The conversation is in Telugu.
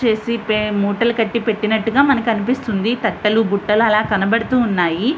క్లోజ్ చేసి ముఠాలు కటి పేటినట్టుగా మనకు అనిపిస్తోంది. తట్టలు బుట్టలు అలా కనబడుతునాయి.